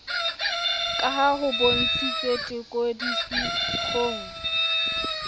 ka ha ho bontshitswe tekodisiksong